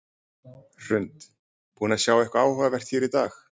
Hrund: Búin að sjá eitthvað áhugavert hér í dag?